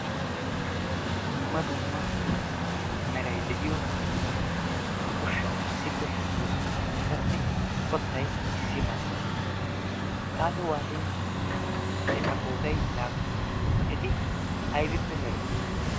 Dumma dummaa Meray de'iyo ushshati issippe shiiqidosonaa Ettassi qottay issi mala xaaxi waaxin eta qoodaa laapuna eti ayibippe merettiyonaa?